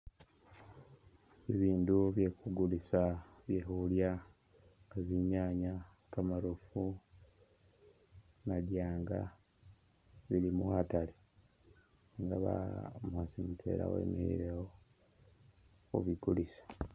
Bibiindu bye khu kulisa bye khulya nga tsinyanye, kamarofu, madyanga bili mu khatale nga ba umukhasi mutwela wemikhilewo khu bikulisa.